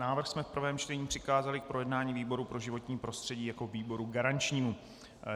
Návrh jsme v prvém čtení přikázali k projednání výboru pro životní prostředí jako výboru garančnímu.